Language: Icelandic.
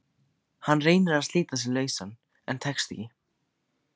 Hann reynir að slíta sig lausan en tekst ekki.